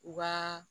U b'a